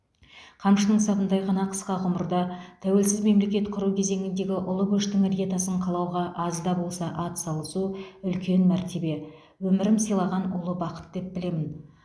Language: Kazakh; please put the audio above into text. қамшының сабындай ғана қысқа ғұмырда тәуелсіз мемлекет құру кезеңіндегі ұлы көштің іргетасын қалауға аз да болса ат салысу үлкен мәртебе өмірім сыйлаған ұлы бақыт деп білемін